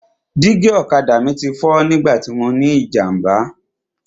Dígí ọ̀kadà mi ti fọ́ nígbà tí mọ ní ìjàmbá.